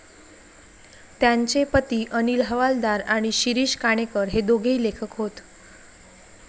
त्यांचे पती अनिल हवालदार आणि शिरीष काणेकर हे दोघेही लेखक होत.